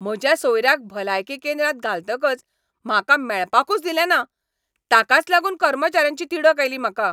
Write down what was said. म्हज्या सोयऱ्याक भलायकी केंद्रात घालतकच म्हाका मेळपाकूच दिलें ना. ताकाच लागून कर्मचाऱ्यांची तिडक आयली म्हाका.